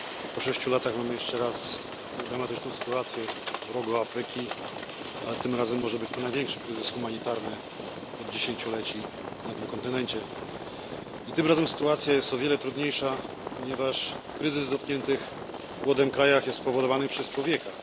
Po sześciu latach mamy jeszcze raz tak dramatyczną sytuację w Rogu Afryki, ale tym razem może być to największy kryzys humanitarny od dziesięcioleci na tym kontynencie i tym razem sytuacja jest o wiele trudniejsza, ponieważ kryzys w dotkniętych głodem krajach jest spowodowany przez człowieka.